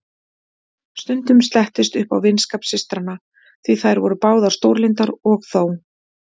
Stundum slettist upp á vinskap systranna, því þær voru báðar stórlyndar, og þó.